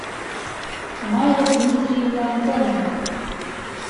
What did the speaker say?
майя дмитриевна антонова